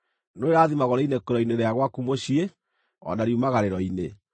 Nĩũrĩrathimagwo rĩinũkĩro-inĩ rĩa gwaku mũciĩ o na riumagarĩro-inĩ.